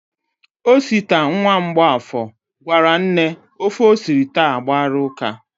Osita, nwa Mgbọafọ, gwara nne ofe o siri taa agbara ụ́ká.